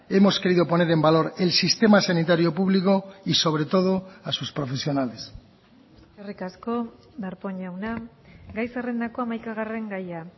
hemos querido poner en valor el sistema sanitario público y sobre todo a sus profesionales eskerrik asko darpón jauna gai zerrendako hamaikagarren gaia